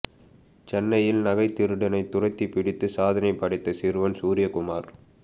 சென்னையில் நகைத் திருடனைத் துரத்திப் பிடித்து சாதனை படைத்த சிறுவன் சூரியக்குமார்